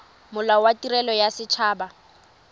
molao wa tirelo ya set